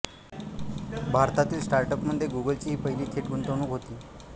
भारतातील स्टार्टअपमध्ये गूगलची ही पहिली थेट गुंतवणूक होती